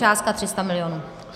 Částka 300 milionů.